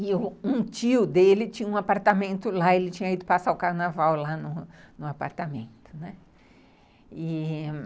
E um tio dele tinha um apartamento lá, ele tinha ido passar o carnaval lá no apartamento.